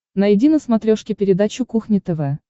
найди на смотрешке передачу кухня тв